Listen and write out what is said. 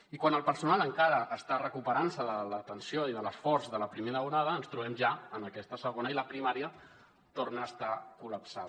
i quan el personal encara està recuperant se de l’atenció i de l’esforç de la primera onada ens trobem ja en aquesta segona i la primària torna a estar col·lapsada